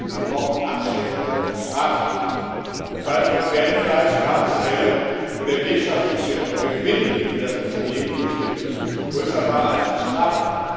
Erstens Wir brauchen abschreckende Strafen. Im Fall von Pferdefleisch gab es Fälle, wo der wirtschaftliche Gewinn für das Unternehmen durch den Betrug größer war als die Strafe.